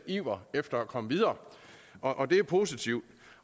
iver efter at komme videre og det er positivt